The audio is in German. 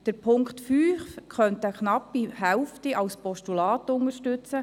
Knapp die Hälfte unserer Fraktion könnte den Punkt 5 als Postulat unterstützen.